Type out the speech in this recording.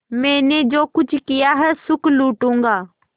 मैंने जो कुछ किया है सुख लूटूँगा